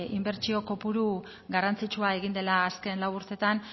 inbertsio kopuru garrantzitsua egin dela azken lau urteetan